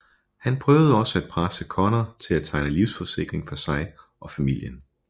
Han prøvede også at presse Conner til at tegne livsforsikring for sig og familien